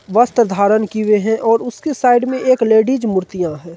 वस्त्र धारण किये हुए हैं और उसके साइड में एक लेडीज मुर्तियां हैं।